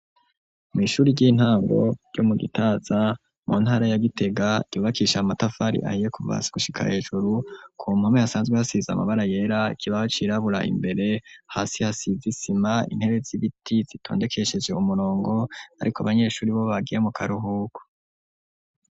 Mw'ishuri ry'intango ryo mu Gitaza mu ntara ya Gitega ,yubakishije amatafari ahiye kuva hasi gushika hejuru, ku mpome hasanzwe hasize amabara yera ikibaho c'irabura imbere hasi hasize isima intebe z'ibiti zitondekesheje umurongo ariko abanyeshuri bo bagiye mu karuhuko.